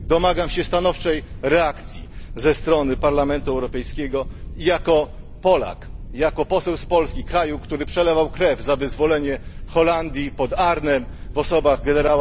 Domagam się stanowczej reakcji ze strony Parlamentu Europejskiego i jako Polak, i jako poseł z Polski kraju, który przelewał krew za wyzwolenie Holandii pod Arnhem w osobach gen.